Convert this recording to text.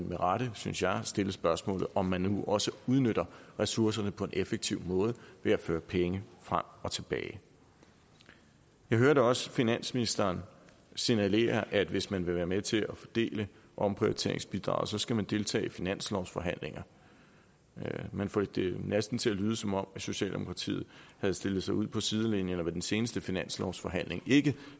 med rette synes jeg stille spørgsmålet om man nu også udnytter ressourcerne på en effektiv måde ved at føre penge frem og tilbage jeg hørte også finansministeren signalere at hvis man vil være med til at fordele omprioriteringsbidraget så skal man deltage i finanslovsforhandlinger man får det næsten til at lyde som om socialdemokratiet havde stillet sig ud på sidelinjen og ved den seneste finanslovsforhandling ikke